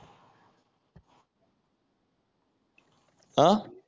अह